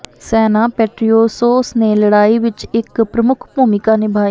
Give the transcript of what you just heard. ਸੈਨਾ ਪੈਟਰੀਓਸੋਸ ਨੇ ਲੜਾਈ ਵਿਚ ਇਕ ਪ੍ਰਮੁੱਖ ਭੂਮਿਕਾ ਨਿਭਾਈ